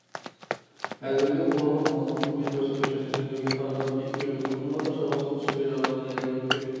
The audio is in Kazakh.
әзірлеу оларға маусымдық қызмет көрсету және жөндеуге қаражатты ескеру сонымен қатар шарушылық-ішуге жарамды және өртке